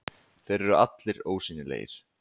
Þeir eru allir ósýnilegir.